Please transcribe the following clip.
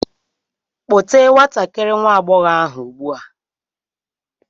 Kpọte ​​nwatakịrị nwa agbọghọ ahụ ugbu a!